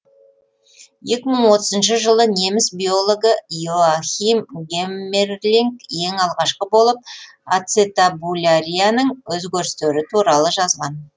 екі мың отызыншы жылы неміс биологі иоахим геммерлинг ең алғашқы болып ацетабулярияның өзгерістері туралы жазған